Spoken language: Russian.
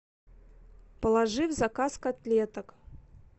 положи в заказ котлеток